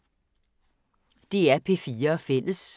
DR P4 Fælles